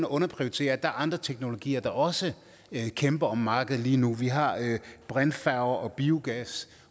underprioritere at der er andre teknologier der også kæmper om markedet lige nu vi har brintfærger og biogas